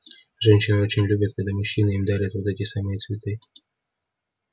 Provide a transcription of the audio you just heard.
женщины очень любят когда мужчины им дарят вот эти самые цветы